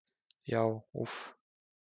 Já, úff.